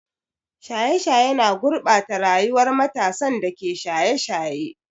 Shaye-shaye na gurɓata rayuwar matasan da ke shaye-shaye.